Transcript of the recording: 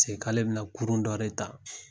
Se k'ale bɛna kurun dɔ de ta